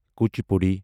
Kuchipudi